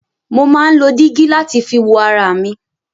Mo máa ń lo dígí láti fi wo ara mi.